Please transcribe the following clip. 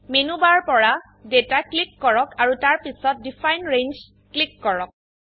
menu bar পৰা data click কৰক আৰু তাৰপিছত ডিফাইন ৰেঞ্জ ক্লিক কৰক